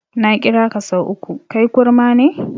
Na kiraka sau uku, kai kurma ne?